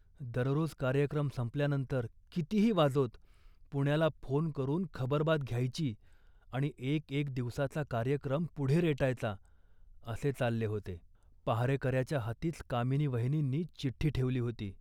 दररोज कार्यक्रम संपल्यानंतर कितीही वाजोत, पुण्याला फोन करून खबरबात घ्यायची आणि एक एक दिवसाचा कार्यक्रम पुढे रेटायचा असे चालले होते. पहारेकऱ्याच्या हातीच कामिनी वहिनींनी चिठ्ठी ठेवली होती